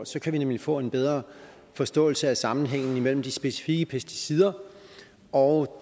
så kan vi nemlig få en bedre forståelse af sammenhængen mellem de specifikke pesticider og